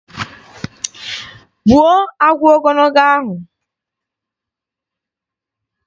Gbuo agwọ ogologo ahụ!